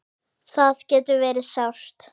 Það getur verið sárt.